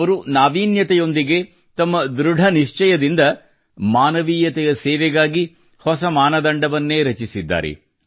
ಅವರು ನಾವೀನ್ಯತೆಯೊಂದಿಗೆ ತಮ್ಮ ಧೃಡ ನಿಶ್ಚಯದಿಂದ ಮಾನವೀಯತೆಯ ಸೇವೆಗಾಗಿ ಹೊಸ ಮಾನದಂಡವನ್ನೇ ರಚಿಸಿದ್ದಾರೆ